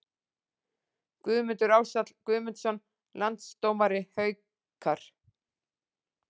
Guðmundur Ársæll Guðmundsson Landsdómari Haukar